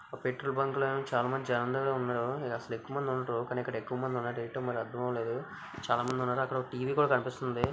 ఒక petrol bunk లో అయితే చాలా మంది జనాలు ఉన్నారు. అసలు ఎక్కువ మంది ఉండరు. కానీ ఇక్కడ ఎక్కువ మంది ఉన్నారు. ఏంటో మరి అర్ధం అవ్వలేదు. చాలా మంది ఉన్నారు. అక్కడ ఓ టి_వి కూడా కనిపిస్తుంది.